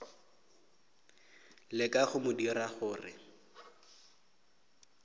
leka go mo dira gore